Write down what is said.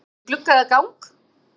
Sæti við glugga eða gang?